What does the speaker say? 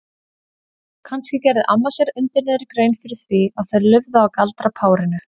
Kannski gerði amma sér undir niðri grein fyrir því að þau lifðu á galdrapárinu?